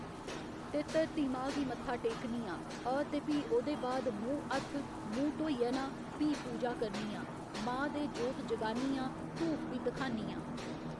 ते धरती मां गी मत्था टेकनी आं अ ते भी ओह्दे बाद मूंह् हत्थ मूंह् धोइयै ना भी पूजा करनी आं मां दे जोत जगानी आं धूफ बी धखानी आं।